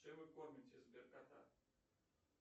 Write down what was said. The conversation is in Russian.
чем вы кормите сбер кота